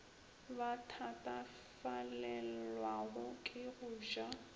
ba thatafalelwago ke go ja